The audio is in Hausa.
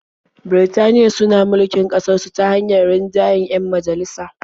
Birtaniya suna mulkin ƙasarsu ta hanyar rinjayen 'yan majalisa.